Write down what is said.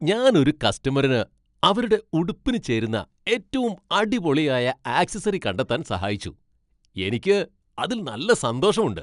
ഞാൻ ഒരു കസ്റ്റമറിന് അവരുടെ ഉടുപ്പിനു ചേരുന്ന ഏറ്റവും അടിപൊളിയായ ആക്സസറി കണ്ടെത്താൻ സഹായിച്ചു, എനിക്ക് അതിൽ നല്ല സന്തോഷമുണ്ട്.